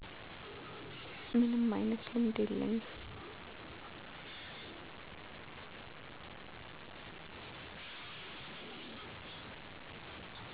ምንም አይነት ልምድ የለኝም።